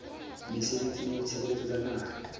mesebetsing ya ditshebeletso tsa naha